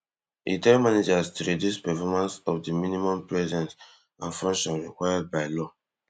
e tell managers to reduce performance to di minimum presence and function required by law